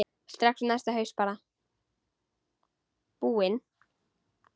Strax næsta haust bara.